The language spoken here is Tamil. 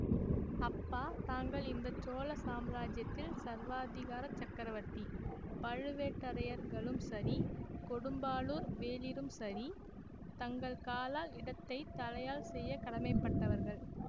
அப்பா தாங்கள் இந்த சோழ சாம்ராஜ்யத்தில் சர்வாதிகாரச் சக்கரவர்த்தி பழுவேட்டரையர்களும் சரி கொடும்பாளூர் வேளிரும் சரி தங்கள் காலால் இட்டதைத் தலையால் செய்ய கடமைப்பட்டவர்கள்